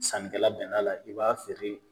Sannikɛla bɛnn'a la i b'a feere